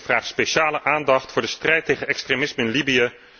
En ik vraag speciale aandacht voor de strijd tegen extremisme in Libië.